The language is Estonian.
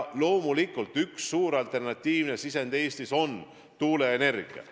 Loomulikult üks suur alternatiivne sisend on Eestis tuuleenergia.